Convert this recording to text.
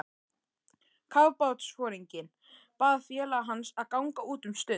Kafbátsforinginn bað félaga hans að ganga út um stund.